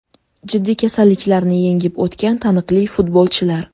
Jiddiy kasalliklarni yengib o‘tgan taniqli futbolchilar.